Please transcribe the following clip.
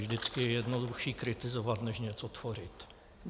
Vždycky je jednodušší kritizovat než něco tvořit.